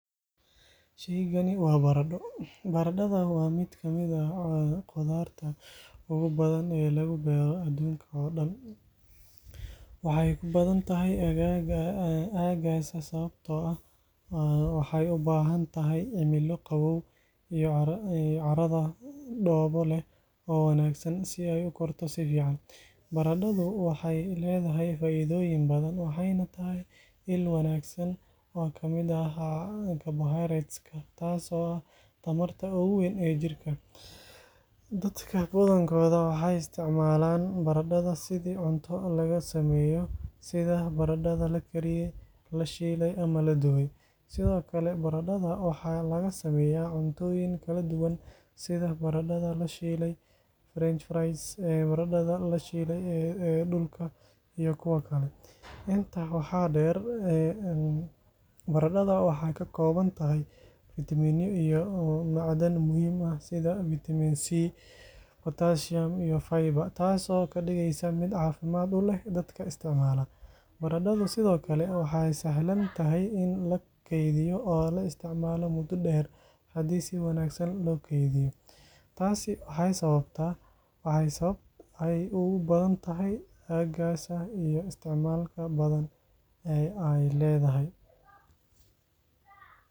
Shaygani waa baradho. Baradhada waa mid ka mid ah khudradda ugu badan ee lagu beero adduunka oo dhan. Waxay ku badan tahay aaggaas sababtoo ah waxay u baahan tahay cimilo qabow iyo carrada dhoobo leh oo wanaagsan si ay u korto si fiican. Baradhadu waxay leedahay faa’iidooyin badan, waxayna tahay il wanaagsan oo ka mid ah carbohydrates-ka, taas oo ah tamarta ugu weyn ee jirka. Dadka badankood waxay isticmaalaan baradhada sidii cunto laga sameeyo, sida baradhada la kariyey, la shiilay, ama la dubay. Sidoo kale, baradhada waxaa laga sameeyaa cuntooyin kala duwan sida baradhada la shiilay (French fries), baradhada la shiilay ee dhulka (mashed potatoes), iyo kuwo kale. Intaa waxaa dheer, baradhada waxay ka kooban tahay fiitamiinno iyo macdan muhiim ah sida fiitamiin C, potassium, iyo fiber, taasoo ka dhigaysa mid caafimaad u leh dadka isticmaala. Baradhadu sidoo kale waa sahlan tahay in la keydiyo oo la isticmaalo muddo dheer haddii si wanaagsan loo kaydiyo. Taasi waa sababta ay ugu badan tahay aaggaas iyo isticmaalka badan ee ay leedahay.